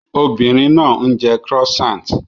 Obìnrin náà ń jẹ croissant